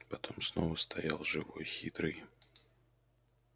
потом снова стоял живой хитрый